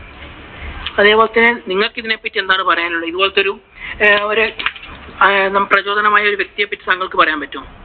അതുപോലെ തന്നെ നിങ്ങൾക്കു ഇതിനെ പറ്റി എന്താണ് പറയാനുള്ളത്? ഇതുപോലെ ഒരു ആഹ് നമുക്കു പ്രചോദനമായ ഒരു വ്യക്തിയെപ്പറ്റി താങ്കൾക്ക് പറയാൻ പറ്റുവോ?